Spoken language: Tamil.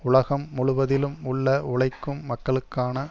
உலகம் முழுவதிலும் உள்ள உழைக்கும் மக்களுக்கான